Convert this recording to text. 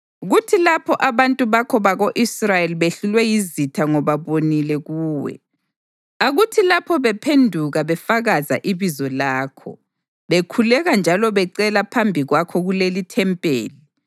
Kuthi lapho abantu bakho bako-Israyeli behlulwe yizitha ngoba bonile kuwe, akuthi lapho bephenduka befakaza ibizo lakho, bekhuleka njalo becela phambi kwakho kulelithempeli,